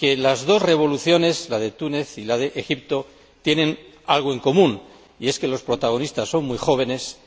Las dos revoluciones, la de Túnez y la de Egipto, tienen algo en común y es que los protagonistas son muy jóvenes,